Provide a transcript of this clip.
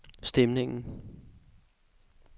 stemningen